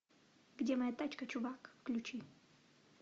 где моя тачка чувак включи